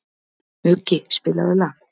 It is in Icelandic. Muggi, spilaðu lag.